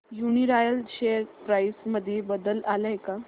Uniroyal share price मध्ये बदल आलाय का